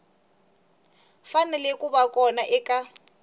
fanele ku va kona eka